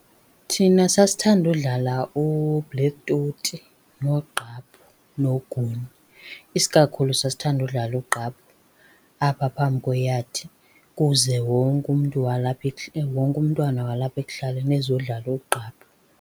Thina sasithanda udlala ubhlekhi toti noogqaphu noogunye. Isikakhulu sasithanda udlala ugqaphu apha phambi kweyadi kuze wonke umntu walapha , wonke umntwana walapha ekuhlaleni ezodlala ugqaphu.